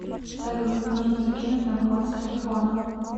салют нужно закинуть на баланс телефона